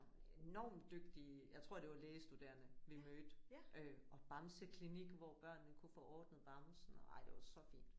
Enormt dygtige jeg tror det var lægestuderende vi mødte øh og bamseklinik hvor børnene kunne få ordnet bamsen ej det var så fint